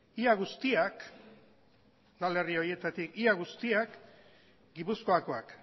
udalerri horietatik ia guztiak gipuzkoakoak